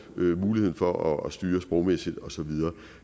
muligheden for at styre sprogmæssigt og så videre